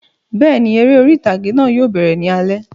Bẹ́ẹ̀ni, eré orí ìtàgé náà yóò bẹ̀rẹ̀ ní alẹ́